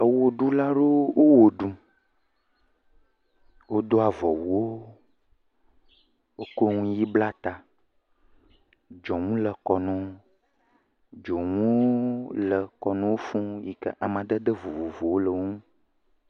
Wɔɖula aɖewo wɔɖum wodo avɔwuwo wokɔ nuɣi bla ta dzonu le kɔ nawo dzonu le kɔ nawo fuu yike amadede vovovovowo le wonu